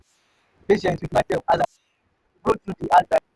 i go dey patient wit mysef as i dey grow through the hard times.